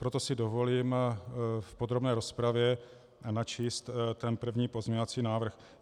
Proto si dovolím v podrobné rozpravě načíst ten první pozměňovací návrh.